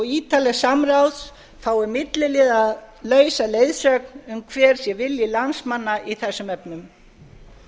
ítarlegs samráðs fái milliliðalausa leiðsögn um hver sé vilji landsmanna í þessum efnum